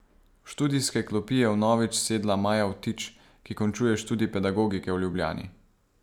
V študijske klopi je vnovič sedla Maja Vtič, ki končuje študij pedagogike v Ljubljani.